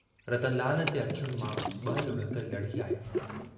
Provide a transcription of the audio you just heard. रतनलाल जे अखियुनि मां ब लुढ़क लढ़ी आया।